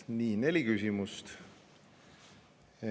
Nii, neli küsimust.